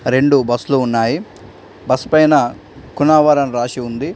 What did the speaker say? రెండు బస్సులు ఉన్నాయి. బస్ పైన కునావర్ అని రాసి ఉంది.